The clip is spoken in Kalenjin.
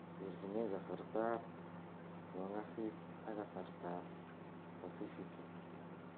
terjinee kasartab kongasis ak kasartab pasifiki